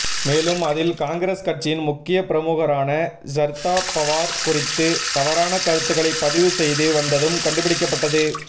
மேலும் அதில் காங்கிரஸ் கட்சியின் முக்கிய பிரமுகரான ஷர்தா பவார் குறித்து தவறான கருத்துகளை பதிவு செய்து வந்ததும் கண்டுபிடிக்கப்பட்டது